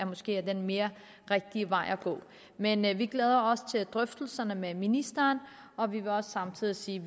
måske er den mere rigtige vej at gå men men vi glæder os til drøftelserne med ministeren og vi vil også samtidig sige